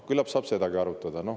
Küllap saab sedagi arutada.